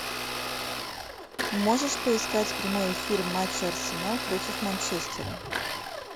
можешь поискать прямой эфир матча арсенал против манчестера